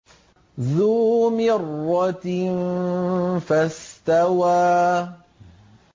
ذُو مِرَّةٍ فَاسْتَوَىٰ